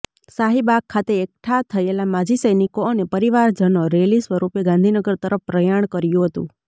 શાહીબાગ ખાતે એકઠા થયેલા માજી સૈનિકો અને પરિવારજનો રેલી સ્વરુપે ગાંધીનગર તરફ પ્રયાણ કર્યું હતું